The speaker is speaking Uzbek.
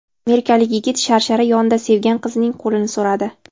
Amerikalik yigit sharshara yonida sevgan qizining qo‘lini so‘radi.